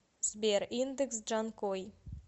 сбер индекс джанкой